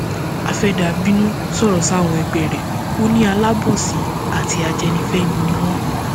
afeather bínú sọrọ sáwọn ẹgbẹ rẹ ò ní alábòsí àti ajẹnifẹni ni wọn